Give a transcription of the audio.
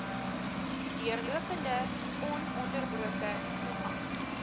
deurlopende ononderbroke toegang